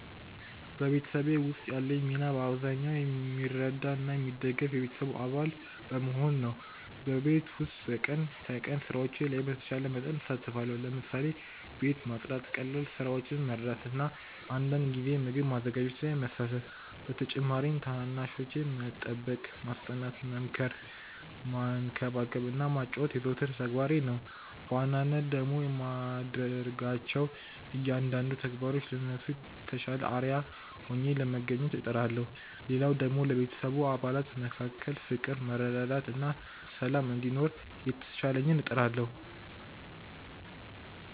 በቤተሰቤ ውስጥ ያለኝ ሚና በአብዛኛው የሚረዳ እና የሚደግፍ የቤተሰቡ አባል በመሆን ነው። በቤት ውስጥ በቀን ተቀን ስራዎች ላይ በተቻለ መጠን እሳተፋለሁ። ለምሳሌ፦ ቤት ማጽዳት፣ ቀላል ስራዎችን መርዳት እና አንዳንድ ጊዜ ምግብ ማዘጋጀት ላይ መሳተፍ። በተጨማሪም ታናናሾቼን መጠበቅ፣ ማስጠናት፣ መምከር፣ መንከባከብ እና ማጫወት የዘወትር ተግባሬ ነው። በዋናነት ደግሞ በማድረጋቸው እያንዳንዱ ተግባሮች ለነሱ የተሻለ አርአያ ሆኜ ለመታየት እጥራለሁ። ሌላው ደግሞ ለቤተሰቡ አባላት መካከል ፍቅር፣ መረዳዳት እና ሰላም እንዲኖር የተቻለኝን እጥራለሁ።